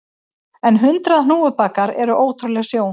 En hundrað hnúfubakar eru ótrúleg sjón